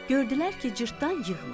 Gördülər ki, cırtdan yığmır.